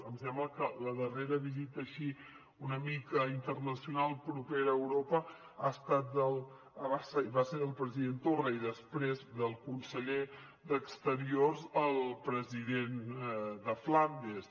em sembla que la darrera visita així una mica internacional propera a europa va ser del president torra i després del conseller d’exteriors al president de flandes